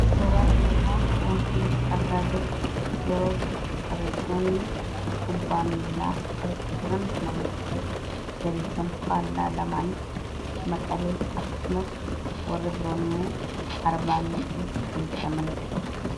Suuraa Kana irratti kan argaa jirru tapha kubbaa miilaadha. Taphni kun faayidaa madaalamuu hin dandeenye fi bakka bu’iinsa hin qabne qaba. Jireenya guyyaa guyyaa keessatti ta’ee, karoora yeroo dheeraa milkeessuu keessatti gahee olaanaa taphata. Faayidaan isaa kallattii tokko qofaan osoo hin taane, karaalee garaa garaatiin ibsamuu danda'a.